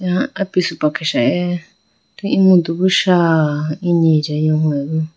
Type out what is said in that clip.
Ala apisupa kesa eh atu emudu bi sha inyi lohoyibo.